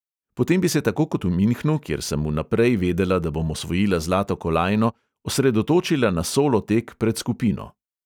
Potem bi se tako kot v minhnu, kjer sem vnaprej vedela, da bom osvojila zlato kolajno, osredotočila na solo tek pred skupino.